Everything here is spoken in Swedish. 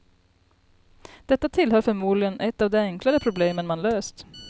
Detta tillhör förmodligen ett av de enklare problemen man löst.